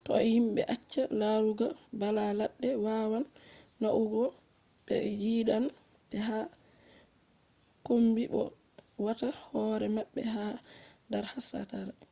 to himɓe accai larugo bala ladde wawan naunugo be ɓe yidan be yaha kombi bo be wata hoore mabbe ha dar hastari